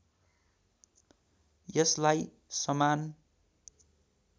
यसलाई समान